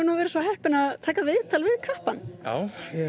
viðtal við kappann já ég er mikið í að taka